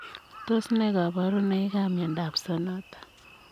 Tos nee kabarunoik ap miondoop sonota?